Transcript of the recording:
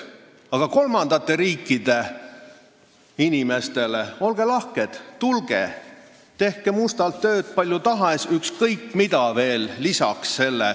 Aga kolmandate riikide inimestele ütleme, et olge lahked, tulge ja tehke mustalt tööd kui palju tahes ning selle kõrvalt ükskõik mida veel lisaks.